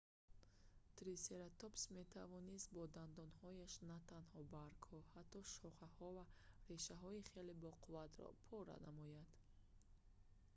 трисератопс метавонст бо дандонҳояш натанҳо баргҳо ҳатто шохаҳо ва решаҳои хеле боқувватро пора намояд